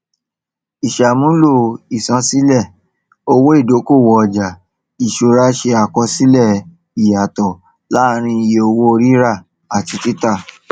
ìsàmúlò ìṣansílẹ owó ìdókòwò ọjà ìṣúra ṣe àkọsílẹ ìyàtò láàárín iye owó rírà àti títà